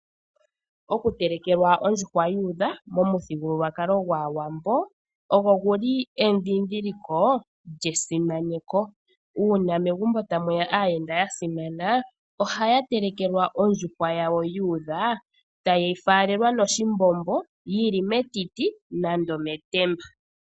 Okutelekelwa ondjuhwa yuudha momuthigululwakalo gwAawambo ogo gu li edhindhiliko lyesimaneko. Uuna megumbo tamu ya aayenda ya simana ohaya telekelwa ondjuhwa yawo yuudha taye yi falelwa noshimbombo yi li metiti nenge metemba.